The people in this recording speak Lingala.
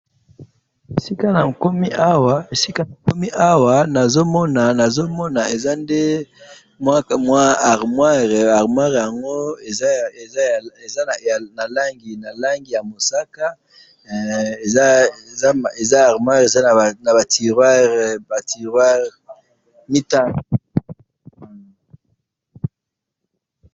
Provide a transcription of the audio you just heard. Bisika nakomi awa nazamona eza nde armoire, armoire yango ezana langi yamusaka eza na ba turoirre mitano